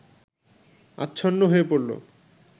আচ্ছন্ন হয়ে পড়ল